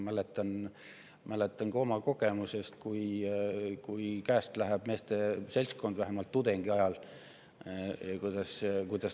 Ma mäletan oma kogemusest, kui käest võib minna meeste seltskond, vähemalt tudengiajal.